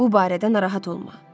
Bu barədə narahat olma.